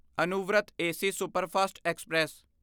Anuvrat AC superfast express